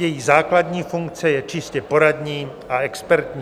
Její základní funkce je čistě poradní a expertní.